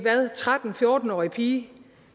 tretten til fjorten årig pige